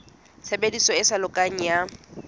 tshebediso e sa lokang ya